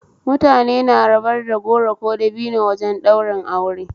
Mutane na rabar da goro ko dabino wajen ɗaurin aure